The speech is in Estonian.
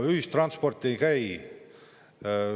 Ühistransport ei käi.